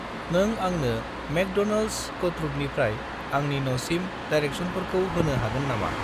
नों आंनो मेकड'नल्डस कट्रुदनिफ्राय आंनि न'सिम डिरेकसनफोरखौ होनो हागोन नामा?